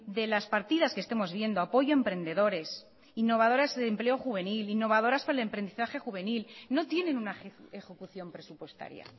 de las partidas que estemos viendo apoyo a emprendedores innovadoras de empleo juvenil innovadoras para el emprendizaje juvenil no tienen una ejecución presupuestaria